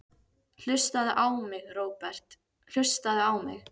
Hlustaðu á mig, Róbert, hlustaðu á mig.